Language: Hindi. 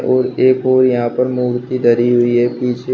और एक और यहां पर मूर्ति धरी हुई है पीछे।